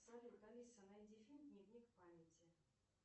салют алиса найди фильм дневник памяти